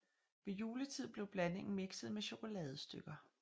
Ved juletid blev blandingen mikset med chokoladestykker